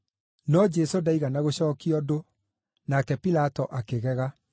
No Jesũ ndaigana gũcookia ũndũ, nake Pilato akĩgega.